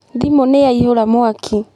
Thimu nĩ yaihũra mwaki.